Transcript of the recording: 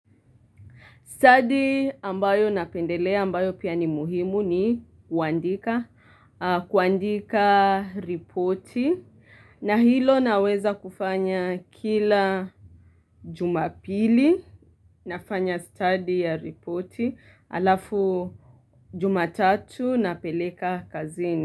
Stadi ambayo napendelea ambayo pia ni muhimu ni kuandika reporti na hilo naweza kufanya kila jumapili, nafanya study ya reporti halafu jumatatu napeleka kazini.